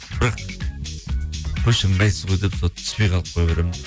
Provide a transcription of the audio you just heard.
бірақ қойшы ыңғайсыз ғой сол түспей қалып қоя беремін